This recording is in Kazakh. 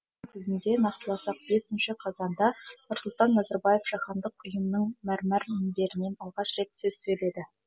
нақтыласақ бесінші қазанда нұрсұлтан назарбаев жаһандық ұйымның мәрмәр мінберінен алғаш рет сөз сөйледі